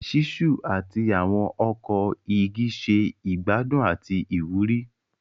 Ṣiṣu ati awọn ọkọ igi ṣe igbadun ati iwuri.